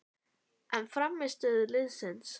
En frammistöðu liðsins?